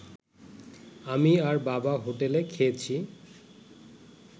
আমি আর বাবা হোটেলে খেয়েছি